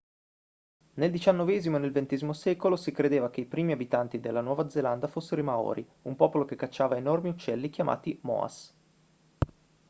nel diciannovesimo e nel ventesimo secolo si credeva che i primi abitanti della nuova zelanda fossero i maori un popolo che cacciava enormi uccelli chiamati moas